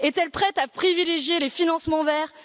Est elle prête à privilégier les financements verts?